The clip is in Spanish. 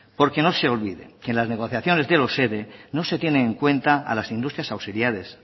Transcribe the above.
porque no se olviden que es la negociaciones de los ere no se tienen en cuenta a las industrias auxiliares